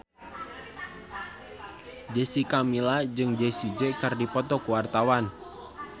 Jessica Milla jeung Jessie J keur dipoto ku wartawan